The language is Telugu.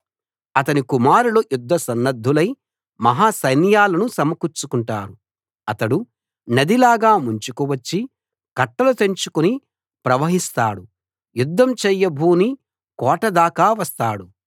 అతని కుమారులు యుద్ధ సన్నద్ధులై మహా సైన్యాలను సమకూర్చుకుంటారు అతడు నది లాగా ముంచుకు వచ్చి కట్టలు తెంచుకుని ప్రవహిస్తాడు యుద్ధం చేయబూని కోట దాకా వస్తాడు